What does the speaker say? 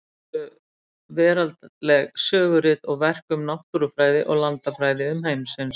Þýdd voru veraldleg sögurit og verk um náttúrufræði og landafræði umheimsins.